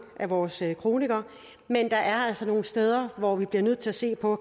af vores kronikere men der er altså nogle steder hvor vi bliver nødt til at se på